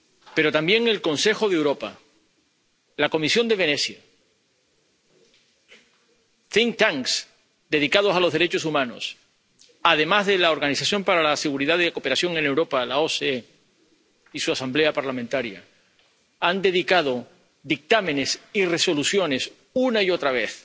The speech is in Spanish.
pero también el Consejo de Europa, la Comisión de Venecia, dedicados a los derechos humanos, además de la Organización para la Seguridad y Cooperación en Europa —la OSCE— y su Asamblea Parlamentaria, han dedicado dictámenes y resoluciones, una y otra vez,